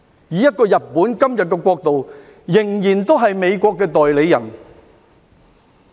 以日本今天這國度，仍然是美國的代理人。